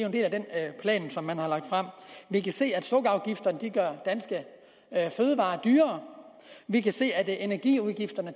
en del af den plan man har lagt frem vi kan se at sukkerafgifterne gør danske fødevarer dyrere vi kan se at energiudgifterne